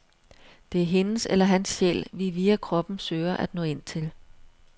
Det er hendes eller hans sjæl, vi via kroppen søger at nå ind til.